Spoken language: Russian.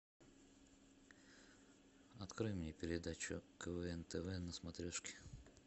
открой мне передачу квн тв на смотрешке